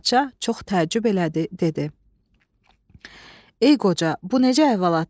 Padşah çox təəccüb elədi, dedi: "Ey qoca, bu necə əhvalatdır?